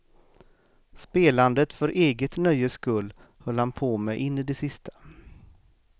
Spelandet för eget nöjes skull höll han på med in i det sista.